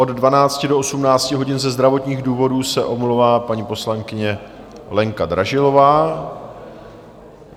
Od 12 do 18 hodin ze zdravotních důvodů se omlouvá paní poslankyně Lenka Dražilová.